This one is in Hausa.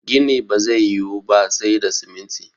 gini ba zai yi Wu ba sai da siminti